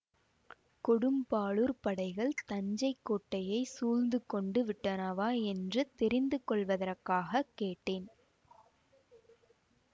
கொடும்பாளூர்ப் படைகள் தஞ்சை கோட்டையைச் சூழ்ந்து கொண்டு விட்டனவா என்று தெரிந்து கொள்வதற்காகக் கேட்டேன்